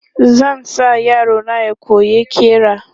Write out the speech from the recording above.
Zan sa yaro na ya koyi ƙira.